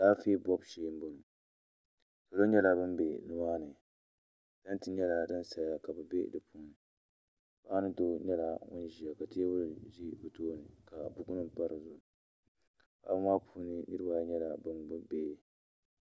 Alaafɛɛ bɔbu shɛɛ n bɔŋɔ salo nyɛla bini bɛ ni maa ni tanti nyɛla dini saya ka bi bɛ di puuni paɣa ni doo nyɛla nini ziya ka tɛɛbli zɛ bi tooni ka buku nima pa di zuɣu paɣaba maa puuni niriba ayi nyɛla bini gbubi bihi.